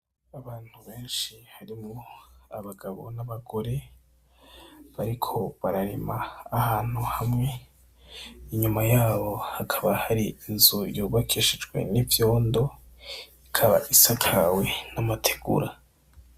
Abantu benshi harimwo abagabo n'abagore bariko bararima ahantu hamwe, inyuma yabo hakaba hari inzu yubakishijwe n'ivyondo ikaba isakawe n'amategura.